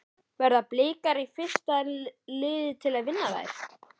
Verða Blikar fyrsta liðið til að vinna þær?